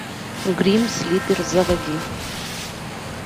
грим слипер заводи